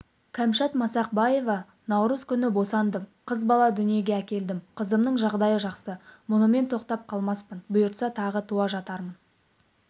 кәмшат масақбаева наурыз күні босандым қыз бала дүниеге әкелдім қызымның жағдайы жақсы мұнымен тоқтап қалмаспын бұйыртса тағы туа жатырмын